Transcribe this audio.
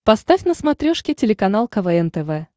поставь на смотрешке телеканал квн тв